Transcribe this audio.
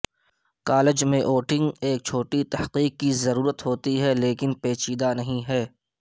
college میں voting ایک چھوٹی تحقیق کی ضرورت ہوتی ہے لیکن پیچیدہ نہیں ہے